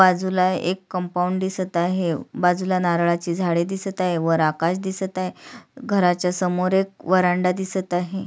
बाजूला एक कंपाऊंड दिसत आहे बाजुला नारळाची झाडे दिसत आहे वर आकाश दिसत आहे घराच्या समोर एक व्हरांडा दिसत आहे.